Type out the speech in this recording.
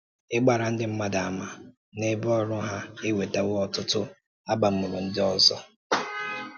Ịgbàrà ndị mmadụ àmà n’ebe ọrụ ha ewetàwo ọtụtụ àbámụ̀rụ ndị ọzọ.